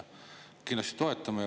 Kindlasti toetame.